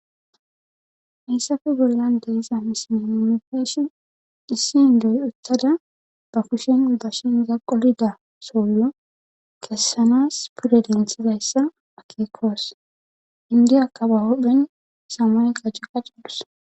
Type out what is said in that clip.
Eyssafe bollan deiza misine omefeshi issin doy uttada ba kushen dashin zaqolida sollo kessanas pude denthizayssa akeekoos indiyakka ba hodhphen samay qajci qaccadus.